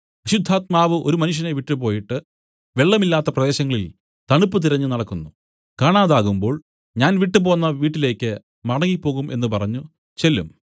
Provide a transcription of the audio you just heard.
അശുദ്ധാത്മാവ് ഒരു മനുഷ്യനെ വിട്ടുപോയിട്ട് വെള്ളം ഇല്ലാത്ത പ്രദേശങ്ങളിൽ തണുപ്പ് തിരഞ്ഞുനടക്കുന്നു കാണാതാകുമ്പോൾ ഞാൻ വിട്ടുപോന്ന വീട്ടിലേക്ക് മടങ്ങിപ്പോകും എന്നു പറഞ്ഞു ചെല്ലും